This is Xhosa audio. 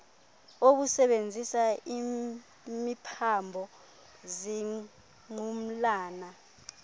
obusebenzisa imiphambo zingqumlana